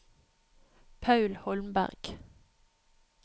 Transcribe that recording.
Paul Holmberg